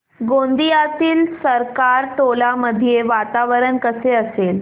गोंदियातील सरकारटोला मध्ये वातावरण कसे असेल